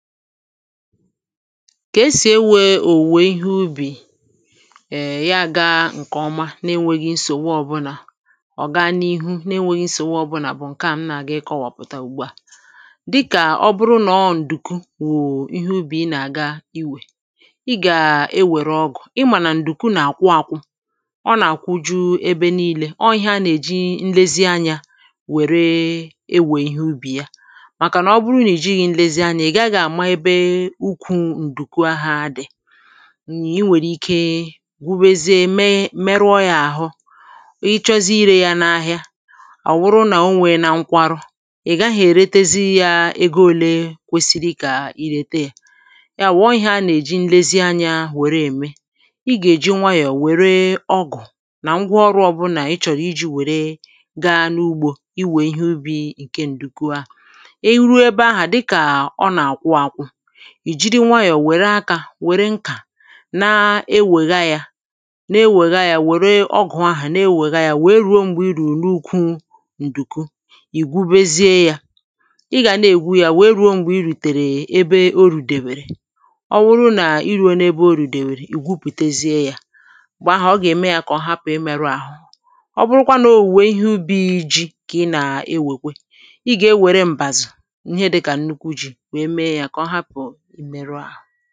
ka esì ewe èwe ihe ubì ya gȧ ǹkè ọma n’enweghi nsòwa ọbụlà ọ̀ gaa n’ihu n’enweghi nsòwa ọbụlà ǹkè a m nà-àgị kọwàpụ̀ta ùgbua dịkà ọ bụrụ nà ọ ǹdùku wụ̀ ihe ubì ị nà-àga iwè ị gà-ewère ọgụ̀ ị mànà ǹdùku nà-àkwụ àkwụ ọ nà-àkwụ ju ebe nii̇lė ọọ̇ ihe a nà-èji nlezianyȧ wère ewè ihe ubì ya ùkwù ǹdùku ahụ̇ dị̀ nà i nwèrè ike gwubėzi meruọ yȧ àhụ ịchọzi irė yȧ n’ahìa àọ̀ wụrụ nà onwè na nkwa ru̇ ị̀gaghị èretezi yȧ egȯ olė kwesiri kà irète yȧ ya àwụ̀ọ ihe a nà-èji nlezi anyȧ wère ème i gà-èji nwayọ̀ wère ọgụ̀ nà ngwa ọrụ̇ ọ̀bụ̀nà ị chọ̀rọ̀ iji̇ wère gaa n’ugbȯ iwè ihe ubi̇ ǹke ǹdùku ahụ̀ ì jiri nwayọ̀ wère akȧ wère nkà na-ewègha yȧ na-ewègha yȧ wère ọgụ̀ ahụ̀ na-ewègha yȧ wèe ruo m̀gbè irù n’ukwu ǹdùku ì gwubezie yȧ ị gà na-ègwu yȧ wèe ruo m̀gbè irùtèrè ebe orù dèbère ọ wụrụ nà ị rùo n’ebe orù dèbèrè ì gwupùtezie yȧ m̀gbè ahụ̀ ọ gà-ème yȧ kà ọ hapụ̀ ị meru àhụ ọ bụrụkwa n’ò wùnye ihe ubi̇ iji̇ kà ị nà-ewèkwe ị gà-enwère m̀bàzụ̀ ihe dịkà nnukwu ji̇ ǹkẹ̀ ọrụ̀, ihe naà bụ̀ ihe na-ẹ̀mẹ̀rụ̀ ihe na-ẹ̀mẹ̀rụ̀ màkà ọrụ̀, ihe na-ẹ̀mẹ̀rụ̀ màkà ọrụ̀, ihe na-ẹ̀mẹ̀rụ̀ màkà ọrụ̀ òchighiȧ ǹkẹ̀ ọrụ nà-àkpọkwa ọrụ̀